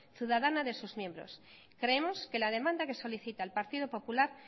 ciudadana de sus miembros creemos que la demanda que solicita el partido popular